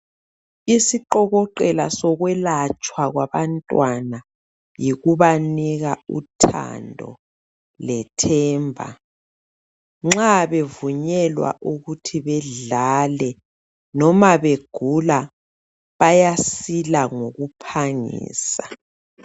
Isiqokoqela sokwelatshwa kwabantwana yikubanika uthando lethemba. Nxa bevunyelwa ukuthi bedlale noma begula bayasila ngokuphangisa